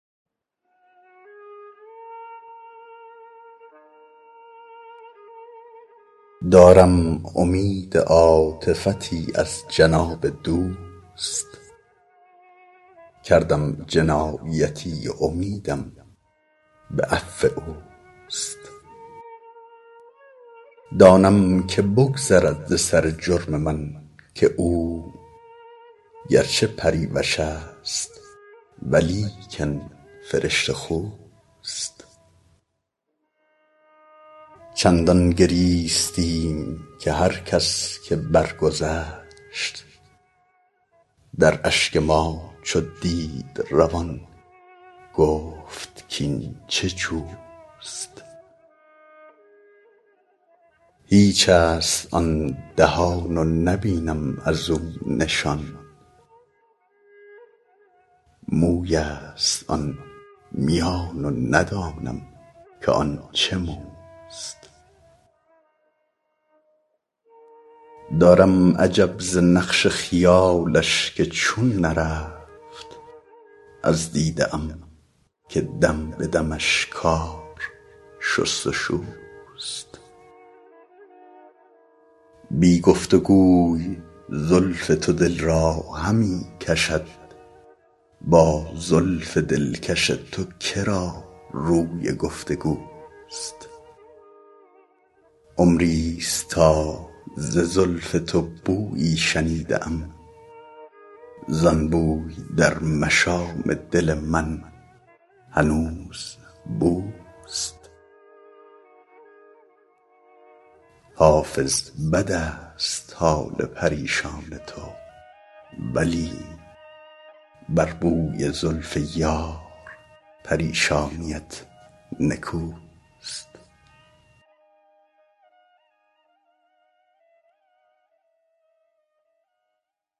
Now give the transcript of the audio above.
دارم امید عاطفتی از جناب دوست کردم جنایتی و امیدم به عفو اوست دانم که بگذرد ز سر جرم من که او گر چه پریوش است ولیکن فرشته خوست چندان گریستیم که هر کس که برگذشت در اشک ما چو دید روان گفت کاین چه جوست هیچ است آن دهان و نبینم از او نشان موی است آن میان و ندانم که آن چه موست دارم عجب ز نقش خیالش که چون نرفت از دیده ام که دم به دمش کار شست و شوست بی گفت و گوی زلف تو دل را همی کشد با زلف دلکش تو که را روی گفت و گوست عمری ست تا ز زلف تو بویی شنیده ام زان بوی در مشام دل من هنوز بوست حافظ بد است حال پریشان تو ولی بر بوی زلف یار پریشانیت نکوست